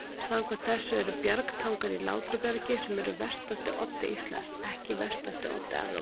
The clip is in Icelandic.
Samkvæmt þessu eru Bjargtangar í Látrabjargi, sem er vestasti oddi Íslands, ekki vestasti oddi Evrópu.